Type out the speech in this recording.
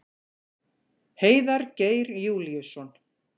Heiðar Geir Júlíusson.